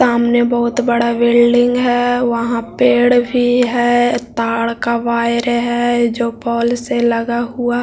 सामने बहुत बड़ा बिल्डिंग है वहां पेड़ भी है तार का वायर है जो पोल से लगा हुआ -सामने बहुत बड़ा बिल्डिंग है वहाँ पेड़ भी है तार का वायर है जो पोल से लगा हुआ --